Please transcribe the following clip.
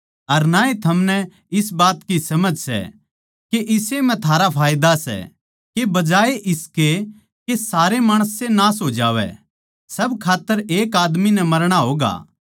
अर ना ए थमनै इस बात की समझ सै के इस्से म्ह थारा फायदा सै के बजाये इसके के सारे माणस ए नाश हो जावै सब खात्तर एक आदमी नै मरणा होगा